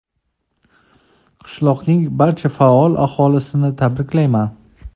Qishloqning barcha faol aholisini tabriklayman.